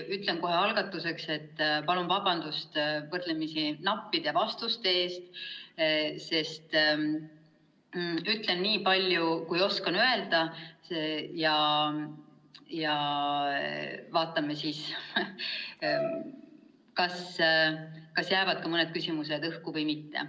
Tõesti, kohe algatuseks palun vabandust võrdlemisi nappide vastuste eest, sest ütlen nii palju, kui oskan öelda, ja vaatame siis, kas jääb ka mõni küsimus õhku või mitte.